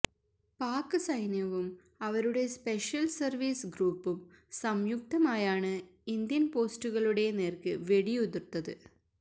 പാക് സൈന്യവും അവരുടെ special service ഗ്രൂപ്പും സംയുക്തമായാണ് ഇന്ത്യന് പോസ്റ്റുകളുടെ നേര്ക്ക് വെടിയുതിര്ത്തത്